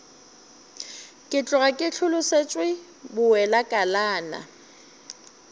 ke tloga ke hlolosetšwe bowelakalana